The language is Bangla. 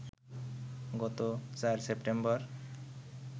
গত ৪ সেপ্টেম্বর